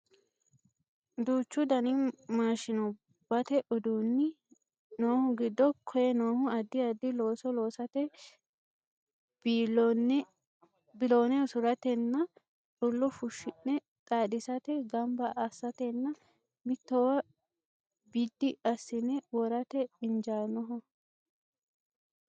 duuchu dani maashinubbate uduunni noohu giddo koye noohu addi addi looso loosate biloone usuratenna xullo fushshine xaadisate ganba assatenna mittowa biddi assine worate injaannoho